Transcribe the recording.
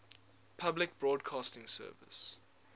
public broadcasting service